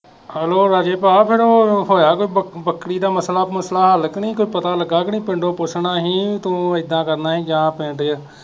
hello ਰਾਜੇ ਭਾ ਫਿਰ ਉਹ ਹੋਇਆ ਕੋਈ ਬੱਕਰੀ ਦਾ ਮਸਲਾ ਮੁਸਲਾ ਹੱਲ ਕੇ ਨਹੀਂ ਕੁਝ ਪਤਾ ਲੱਗਾ ਕੇ ਨਹੀਂ ਪਿੰਡੋ ਪੁੱਛਣਾ ਹੀ ਤੂੰ ਇਹਦਾ ਕਰਨਾ ਹੀ ਜਾਂ ਪਿੰਡ ਚ